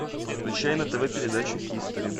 включай на тв передачу хистори